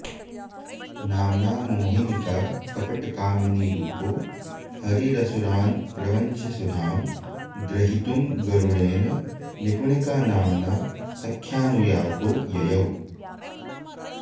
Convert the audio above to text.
नाम्ना मोहिनिका कपटकामिनीरूपो हरिरसुरान् प्रवञ्च्य सुधां ग्रहीतुं गरुडेन निपुणिकानाम्ना सख्यानुयातो ययौ